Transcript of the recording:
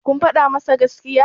kun faɗa masa gaskiya?